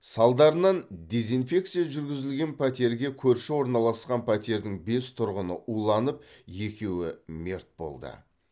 салдарынан дезинфекция жүргізілген пәтерге көрші орналасқан пәтердің бес тұрғыны уланып екеуі мерт болды